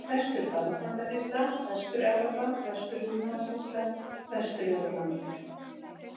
Vestur-Barðastrandasýsla, Vestur-Evrópa, Vestur-Húnavatnssýsla, Vestur-Jótland